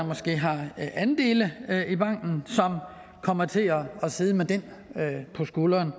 måske har andele i banken som kommer til at sidde med den på skulderen